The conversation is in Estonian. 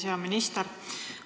Hea minister!